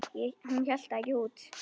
Hún hélt það ekki út!